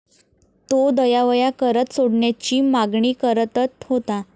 तो दयावया करत सोडण्याची मागणी करतत होता.